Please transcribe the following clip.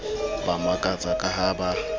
ba makatsa ka ha ba